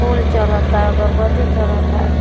फूल चढ़ता अगरबत्ती चढ़ता।